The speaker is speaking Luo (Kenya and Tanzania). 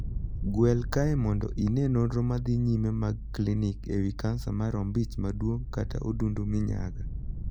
Gwel kae mondo ine nonro madhi nyime mag klinik e wii kansa mar ombich maduong kata odundu minyaga.